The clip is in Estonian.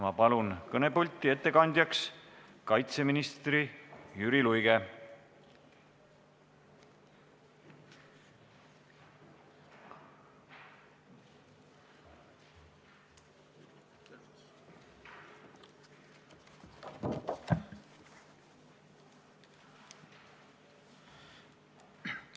Ma palun kõnepulti ettekandjaks kaitseminister Jüri Luige!